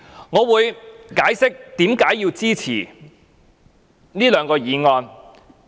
我會解釋為何支持這兩項議案。